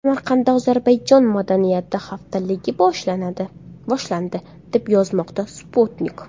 Samarqandda Ozarbayjon madaniyati haftaligi boshlandi, deb yozmoqda Sputnik.